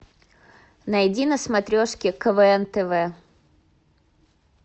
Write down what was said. найди на смотрешке квн тв